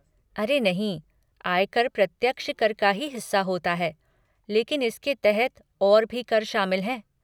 अरे नहीं, आयकर प्रत्यक्ष कर का ही हिस्सा होता है लेकिन इसके तहत और भी कर शामिल हैं।